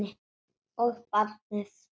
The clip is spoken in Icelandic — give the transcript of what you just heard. Og barnið.